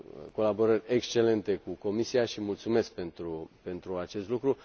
colaborări excelente cu Comisia și mulțumesc pentru acest lucru.